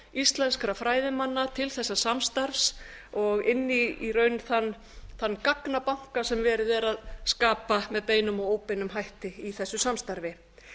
íslenskra fræðimanna til þessa samstarfs og inn í raun þann gagnabanka sem verið er að skapa með beinum og óbeinum hætti í þessu samstarfi